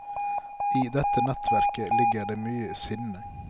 I dette nettverket ligger det mye sinne.